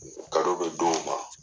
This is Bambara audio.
be d'o ma .